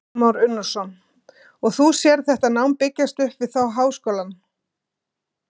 Kristján Már Unnarsson: Og þú sérð þetta nám byggjast upp við þá háskólann?